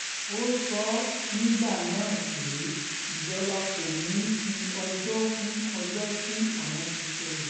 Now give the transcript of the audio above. ó sọ nígbà náà pé ìjọba kò ní í fi ọjọ́ kún ọjọ́ tí àwọn ti sọ yìí